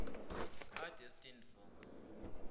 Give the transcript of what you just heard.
are destined for